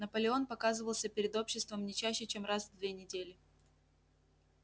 наполеон показывался перед обществом не чаще чем раз в две недели